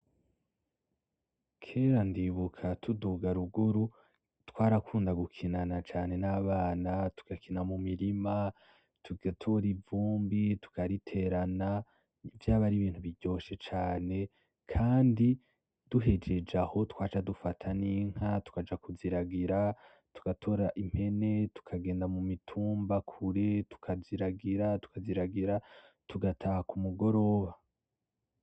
Kera ndibuka tuduga ruguru, twarakunda gukinana cane nabana, tugakina mu mirima, tugatora ivumbi tukariterana. Vyaba ari ibintu biryoshe cane. Kandi duhejeje aho twaca dufata n'inka tukaja kuziragira, tugatora impene tukagenda mu mitumba kure tukaziragira tukaziragira tugataha kumugoroba.